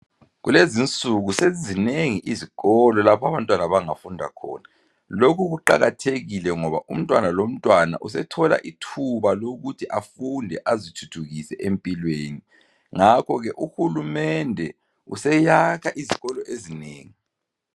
Kulezinsuku sezizinengi izikolo lapho abantwana abangafunda khona. Lokhu kuqakathekile ngoba umntwana lomntwana usethola ithuba lokuthi afunde azithuthukise empilweni. Ngakhole uhulumende useyakha izikolo ezinengi.